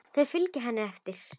Þau fylgja henni eftir.